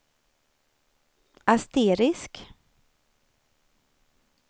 asterisk